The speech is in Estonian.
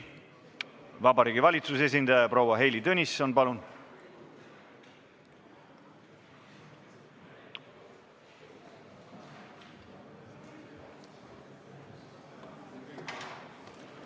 Vabariigi Valitsuse esindaja proua Heili Tõnisson, palun!